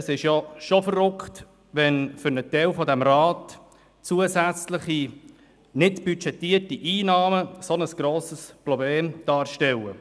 Es ist doch unglaublich, wenn für einen Teil dieses Rats zusätzliche, nicht budgetierte Einnahmen ein so grosses Problem darstellen.